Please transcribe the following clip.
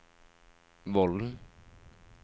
Vollen